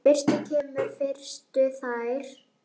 Fyrstur kemur, fyrstur fær.